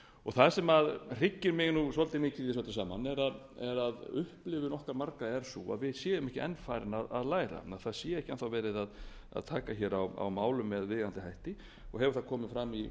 og það sem hryggir mig svolítið mikið í þessu öllu saman er að upplifun okkar margra er sú að við séum ekki enn farnir að læra það sé ekki enn þá verið að taka á málum með viðeigandi hætti og hefur það komið fram í